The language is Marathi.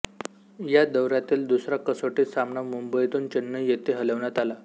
या दौऱ्यातील दुसरा कसोटी सामना मुंबईतून चेन्नई येथे हलवण्यात आला